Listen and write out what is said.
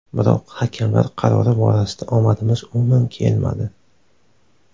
Biroq hakamlar qarori borasida omadimiz umuman kelmadi.